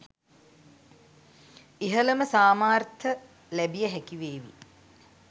ඉහළම සාමාර්ථ ලැබිය හැකි වේවි